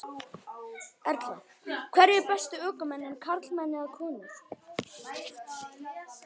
Erla: Hverjir eru bestu ökumennirnir, karlmenn eða konur?